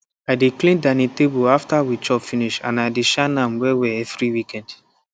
i dey clear dining table after we chop finish and i de shine am wellwell evri week